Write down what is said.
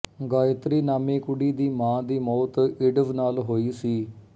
ਗਾਇਤਰੀ ਨਾਮੀ ਕੁੜੀ ਦੀ ਮਾਂ ਦੀ ਮੌਤ ਏਡਜ਼ ਨਾਲ ਹੋਈ ਸੀ